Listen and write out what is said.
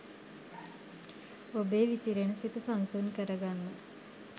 ඔබේ විසිරෙන සිත සන්සුන් කරගන්න.